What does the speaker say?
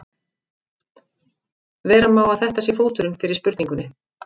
Vera má að þetta sé fóturinn fyrir spurningunni.